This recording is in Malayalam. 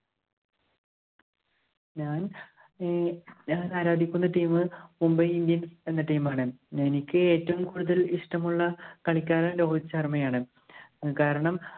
ഞാന്‍ ഏർ ഞാന്‍ ആരാധിക്കുന്ന team Mumbai Indians എന്ന team ആണ്. എനിക്ക് ഏറ്റവും കൂടുതല്‍ ഇഷ്ടമുള്ള കളിക്കാരന്‍ രോഹിത് ശര്‍മ്മയാണ്. കാരണം,